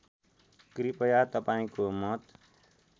कृपया तपाईँको मत